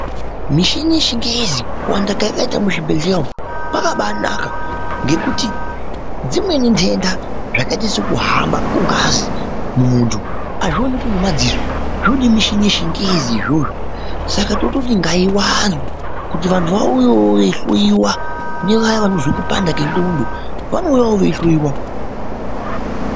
Mishini yechinhezi ,kuwanda kayakaita muzvibhhlera umu kwakabaanaka, ngekuti dzimweni ndenda zvakaita sekuhamba kugazi mumuntu azvioneki ngemaziso zvoda mishini yechinhezi izvozvo saka tototi ngaiwande ,kuti vantu vauye veihluiwa nevaya vanozwa kupanda kwen'condo vanouyawo veihluiwa .